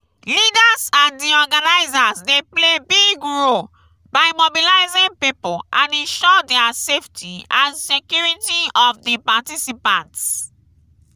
leaders and di organizers dey play big role by mobilizing people and ensure their safety and security of di participants.